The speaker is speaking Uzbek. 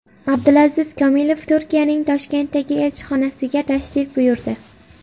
Abdulaziz Komilov Turkiyaning Toshkentdagi elchixonasiga tashrif buyurdi.